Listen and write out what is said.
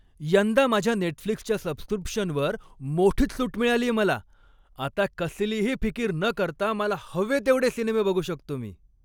यंदा माझ्या नेटफ्लिक्सच्या सबस्क्रिप्शनवर मोठीच सूट मिळालीये मला. आता कसलीही फिकीर न करता मला हवे तेवढे सिनेमे बघू शकतो मी.